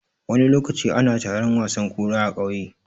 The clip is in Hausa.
Wani lokaci ana taron wasan kura a ƙauye.